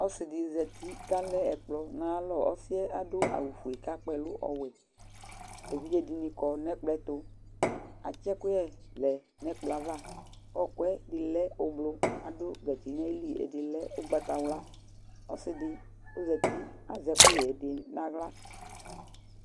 Ɔsɩdi zatɩ kalɛ ekplɔ nayalɔ Ɔsɩ yɛ adawʊ ofue kakpɛlʊ ɔwɛ Evidze dini kɔ nekplɔ yɛ tu Atsɛkuyɛ lɛ nɛkplɔ ava Ɔyɔkʊ ɛdilɛ ublɔr adʊ gatsɩ nayɩlɩ, ɛdilɛ ʊgbatawla Ɔsɩdɩ ɔzatɩ azɛ ɛkʊƴɛdi nawla